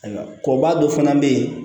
Ayiwa kɔba dɔ fana be yen